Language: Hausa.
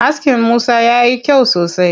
Askin Musa yayi kyau sosai.